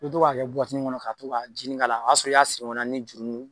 I bi to k'a kɛ kɔnɔ ka to ka jinin k'a la o y'a sɔrɔ i y'a siri ɲɔgɔn na ni jurunin ye.